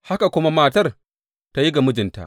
Haka kuma matar ta yi ga mijinta.